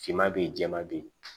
Finma be yen jɛman be yen